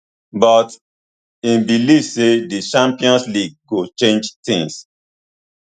but im believe say di champions league go change tins